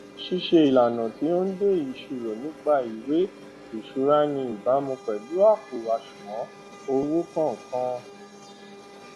ṣíṣe ìlànà tí ó n de ìròyín nípa ìwé ìṣuraní ìbámu pèlú àpò àṣùwòn owó kòòkan